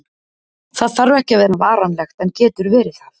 Það þarf ekki að vera varanlegt, en getur verið það.